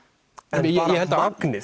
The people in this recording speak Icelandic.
en magnið